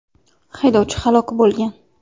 Haydovchi halok bo‘lgan.